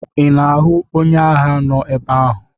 Ị na-ahụ onye agha nọ ebe ahụ?